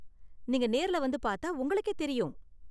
நீங்க நேர்ல வந்து பார்த்தா உங்களுக்கே தெரியும்.